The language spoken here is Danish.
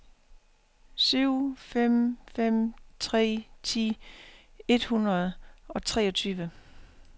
syv fem fem tre ti et hundrede og treogtyve